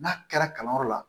N'a kɛra kalanyɔrɔ la